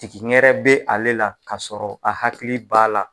Jigi wɛrɛ bɛ ale la ka sɔrɔ a hakili b'a la